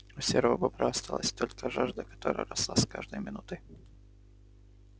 у серого бобра осталась только жажда которая росла с каждой минутой